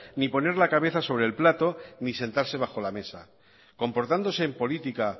ni poner la cabeza sobre el plato ni sentarse bajo la mesa comportándose en política